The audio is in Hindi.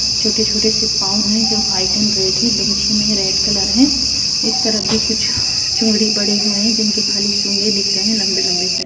छोटे छोटे से पांव है जो व्हाइट एंड रेड है। दुमछी में रेड कलर है। इस तरफ भी कुछ चुंडी पड़े हुए है जिनके खाली सूंगे दिख रहे हैं लम्बे लम्बे से।